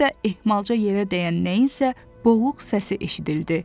Həm də ehmalca yerə dəyən nəyinsə boğuq səsi eşidildi.